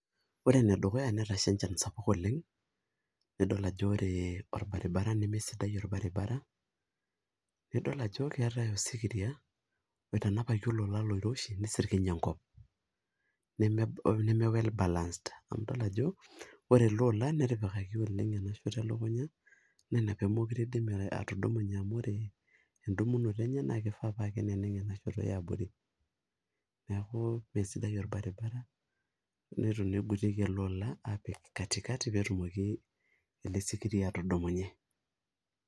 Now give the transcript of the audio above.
Ore enedukuya netasha enchan sapuk oleng' nidol ajo ore orbaribara nemsidai orbaribara nidol ajo keetai osikiria oitanapaki olola oiroshi nisirkiny' enkop neme well balanced[c]s amu idol ajo ore ele oola netipikaki oleng' enashoto elukunya naa ina pee meekure iindim atudumunye amu ore enndumunoto enye naa kifaa paa keneneng' ena shoto e abori, neeku meesidai orbaribara nitu naa igutieki ele ola aapik katikati pee etumoki ele sikiria atudumunye.